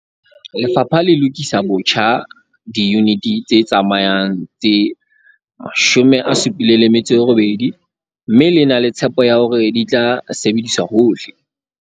Lefapha le lokisa botjha diyuniti tse tsamayang tse 78 mme le na le tshepo ya hore di tla sebediswa hohle